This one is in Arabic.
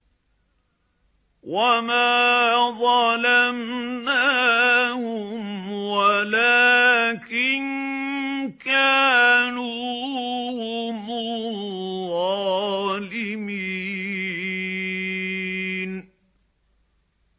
وَمَا ظَلَمْنَاهُمْ وَلَٰكِن كَانُوا هُمُ الظَّالِمِينَ